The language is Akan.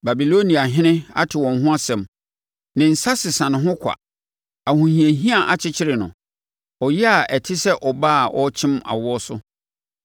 Babiloniahene ate wɔn ho nsɛm, ne nsa sesa ne ho kwa. Ahohiahia akyekyere no; ɔyea a ɛte sɛ ɔbaa a ɔrekyem awoɔ so.